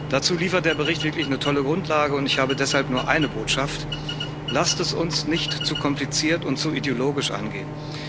Dazu liefert der Bericht wirklich eine tolle Grundlage, und ich habe deshalb nur eine Botschaft Lasst es uns nicht zu kompliziert und zu ideologisch angehen.